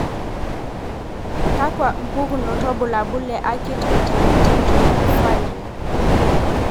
Kakwa mpukunot wobulabul le Acute intermittent porphyria?